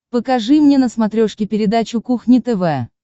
покажи мне на смотрешке передачу кухня тв